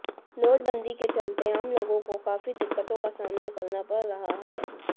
note बंदी के चलते आम लोगों को काफी दिक्कतों का सामना करना पड़ रहा है